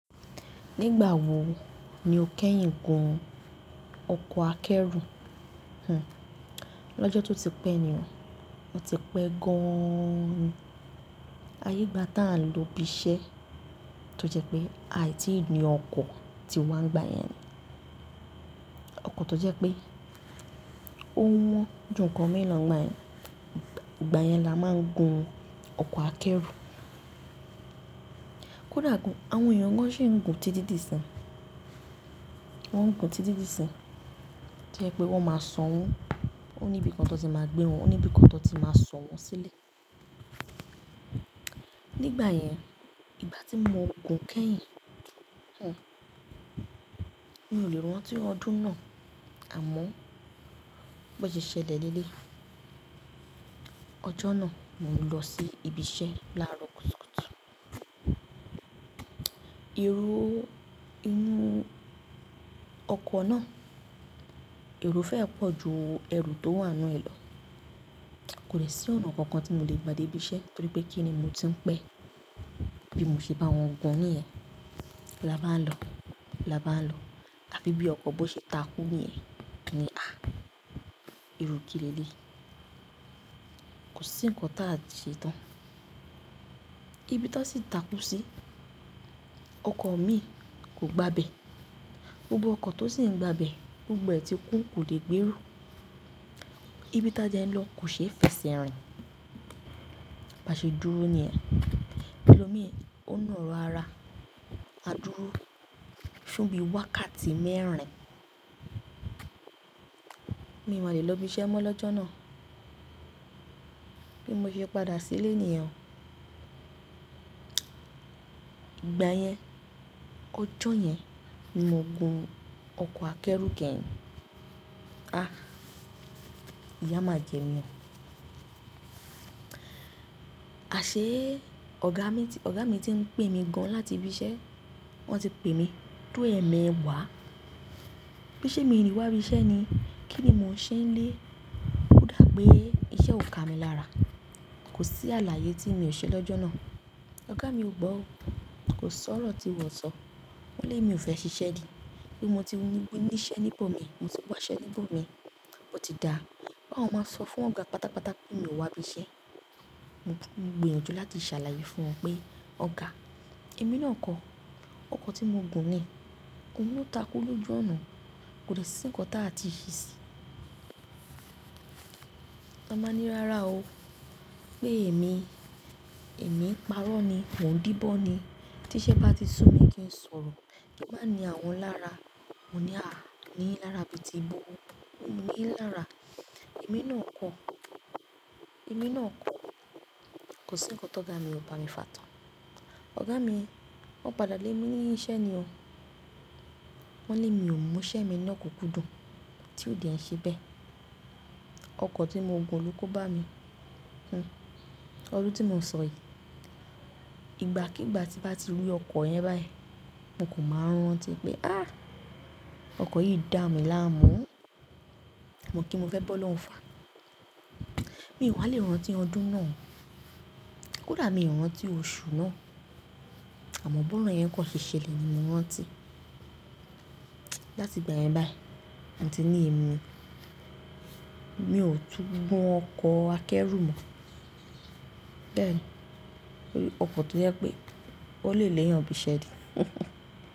Nígbà wo ni o kẹ́yìn gun ọkọ̀ akẹ́rù? Hhm lọ́jọ́ tó ti pẹ́ ni o, o ti pẹ́ gan-an. Ayé gba tán lò bí iṣẹ́ tó jẹ́ pé àìtí ni ọkọ̀ tí wa ń gba yẹn ni. Ọkọ̀ tó jẹ́ pé ó wọ́n ju nǹkan mi lo n gba yẹn. Ìgbà yẹn la máa ń gun ọkọ̀ akẹ́rù. Kódà gan, àwọn èèyàn gan-an ṣì ń gun títí di sin, wọ́n ń gun títí di sin. Tó jẹ́ pé wọ́n máa san owó, ó ní ibi kan tó ti máa gbé wọn, ó ní ibi kan tó ti máa so wọn sílẹ̀. Nígbà yẹn ìgbàtí mo gun kẹ́yìn, mi ò lè rántí ọdún náà àmọ́ bó ṣe ṣẹlẹ̀ leleyii, ọjọ́ náà mo ń lọ sí ibi iṣẹ́ láàrọ̀ kùtùkùtù èrò inú ọkọ̀ náà, èrò fẹ́ ẹ pọ̀ ju ẹrù tó wà nú ẹ lọ. Kò dè sí ọ̀nà kankan tí mo lè gba dé ibi iṣẹ́ torí pé kí ni mo ti ń pẹ́ bí mo ṣe bá wọn gun níyẹn. Lá bá ń lọ, lá bá ń lọ, tàbí bí ọkọ̀ bọ́ ṣe takú níyẹn, mo ni à, irú kí lé lé yi. Kò sí nǹkan táà ṣe tán. Ibi tán sì takú sí, ọkọ̀ mi kò gbábẹ́. Gbogbo ọkọ̀ tó sì ń gbábẹ́, gbogbo ẹ́ ti kún kò lè gbèro. Ibi táa dẹ́ n lọ kò ṣeé feṣe rìn. Ba ṣe dúró ní yẹn. Elomi, ó nà wó ara, a dúró fún bí i wákàtí mẹ́rin. Mi i máa lè lọ ibi iṣẹ́ mọ́ lọ́jọ́ náà. Bí mo ṣe padà sílé nìyen, ìgbà yẹn, ọjọ́ yẹn ni mo gun ọkọ̀ akẹ́rù kẹ́yìn. Ah! Ìyá máa jẹ mí o. A ṣé ọ̀gá mi ti, ọ̀gá mi ti ń pè mí gan-an láti ibi iṣẹ́. Wọ́n ti pè mí tó ẹ̀ẹ̀mẹwàá. Pé sẹ́ mi nì wá ibi iṣẹ́ ni. Kí ni mò ń ṣe nílé? Kódà pé iṣẹ́ ò ka mi lára. Kò sí àlàyé tí mi ò ṣe lọ́jọ́ náà. Ọ̀gá mi ò gbọ́ o. Kò sọ̀rọ̀ tí wọ́n o sọ. Wọ́n lé mi ò fẹ́ ṣiṣẹ́ ni. Pé mo ti ni i ní iṣẹ́ níbò mi, mo ti wá iṣẹ́ níbò mi, po ti dáa. Páwọn máa sọ fún ọ̀gá pátápátá pé mi ò wá ibi iṣẹ́. Mo gbìyànjú láti ṣàlàyé fún wọn pé ọ̀gá, èmi náà kọ̀, ọkọ̀ tí mo gùn ní ohun lo takú lójú ọ̀nà. Kò dè sí nǹkan táà ti ṣe sí. Wọn báa ní rárá o pé èmi, èmi parọ́ ni. Mo ń díbọ́ ni. Tiṣẹ́ bá ti sú mi kí n sọ̀rọ̀. Kí n maá ní àwọn lára, mo ní à, ní yin lára bíi ti bo. Ní yin lára. Èmi náà kọ̀. Èmi náà kọ̀. Kò sí nǹkan tóga mi, ọ̀ bá mi fà tán. Ọ̀gá mi wọ́n padà lé mi ni iṣẹ́ ni o. Wọ́n ní mi ò mú iṣẹ́ mi lokunkundùn. Tí ò dé n sebee ọkọ̀ tí mo gùn ló koba mi hhm ọdún tí mo ń sọ yìí, ìgbà kí ìgbà tí bá ti rí ọkọ̀ yẹn báyìí, mo kan maà rán tí pé à, ọkọ̀ yìí dà mi láàmú. Mọ̀ kí n mo fẹ́ bọ́lọ́un fa. Mi ò wá lè rántí ọdún náà. Kódà mi ò rántí oṣù náà. Àmọ́ bọ́ro yẹn kan ṣeé ṣelé ni mo rántí. Láti ìgbà yẹn báyìí, mo ti ní èmi, mi ò tún gun ọkọ̀ akẹ́rù mọ̀. Bẹ́ẹ̀ ni. Torí ọkọ̀ tó jẹ́ pé ó lè léeyàn bi iṣẹ́ ni.